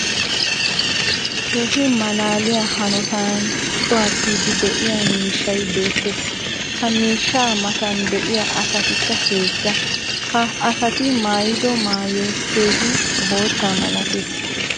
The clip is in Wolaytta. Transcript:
keehi malaaliya hanotan cuwattiidi diya miishshay beetees. ha miishshaa matan diya asatikka heezza. ha asati maayiddo maayoy keehi bootta malatees.